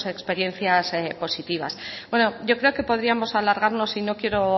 experiencias positivas yo creo que podríamos alargarnos y no quiero